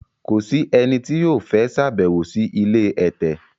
Kò sì ẹni tí o fẹ ṣabewo si ilé ẹtẹ